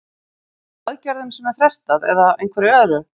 Er það í aðgerðum sem er frestað eða einhverju öðru?